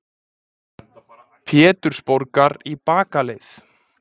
Pétursborgar í bakaleið.